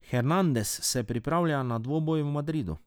Hernandez se pripravlja na dvoboj v Madridu.